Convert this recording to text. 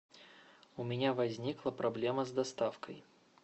у меня возникла проблема с доставкой